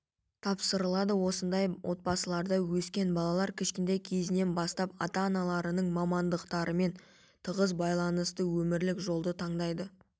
тапсырылады осындай отбасыларда өскен балалар кішкентай кездерінен бастап ата-аналарының мамандықтарымен тығыз байланысты өмірлік жолды таңдайды